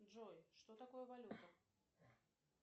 джой что такое валюта